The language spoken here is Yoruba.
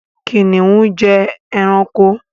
Kìnìún jẹ́ ẹranko.